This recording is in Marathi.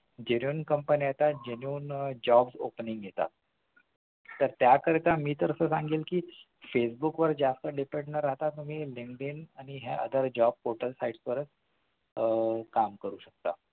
genuine company येतात genuine job opening येतात तर त्या करिता मी तर असे सांगीन कि facebook वर जास्त depend न राहता तुम्ही Linkdin आणि ह्या other job portal sites वर आह काम करू शकता